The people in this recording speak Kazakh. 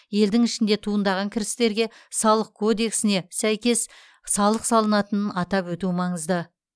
елдің ішінде туындаған кірістерге салық кодексіне сәйкес салық салынатынын атап өту маңызды